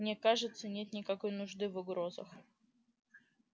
мне кажется нет никакой нужды в угрозах